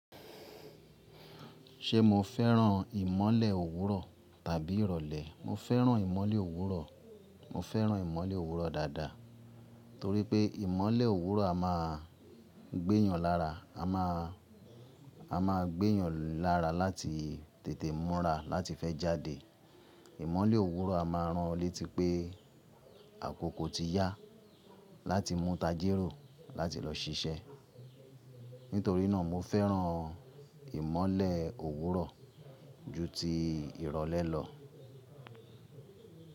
Ṣé mo fẹ́ràn ìmọ́lẹ̀ òwúrọ̀ tàbí ìrọ̀lẹ́? Mo fẹ́ràn ìmọ́lẹ̀ òwúrọ̀, mo fẹ́ràn ìmọ́lẹ̀ òwúrọ̀ dáadáa, torí pé ìmọ́lẹ̀ òwúrọ̀ a máa gbéyàn lára, a máa, a máa gbéyàn lára láti tètè múra, láti fẹ́ jáde. Ìmọ́lẹ̀ òwúrọ̀ a máa ràn o létí pé àkókò ti yá láti mu tajérò, láti lọ ṣiṣẹ́. Nítorí náà mo fẹ́ràn ìmọ́lẹ̀ òwúrọ̀ ju ti ìrọ̀lẹ́ lọ.